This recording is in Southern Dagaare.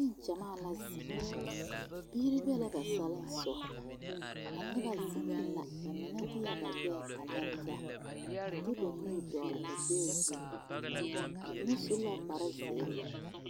Nengyamaa la zeŋ bie be la ba salensogɔ a noba zeŋɛɛ la mine deɛ ba gbɛɛ a lare taa a de ba nuuri dɔgle ba gbɛɛ zu ba mine su la kparezeere